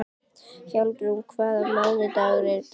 Hjálmrún, hvaða mánaðardagur er í dag?